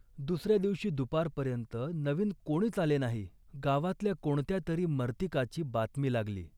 दुसऱ्या दिवशी दुपारपर्यंत नवीन कोणीच आले नाही. गावातल्या कोणत्या तरी मर्तिकाची बातमी लागली